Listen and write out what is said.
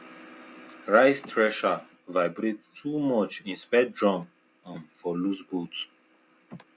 rice thresher vibrate too much inspect drum um for loose bolts